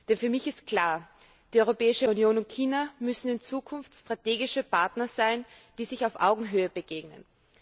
Denn für mich ist klar Die Europäische Union und China müssen in Zukunft strategische Partner sein, die sich auf Augenhöhe begegnen.